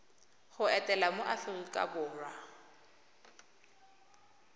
go etela mo aforika borwa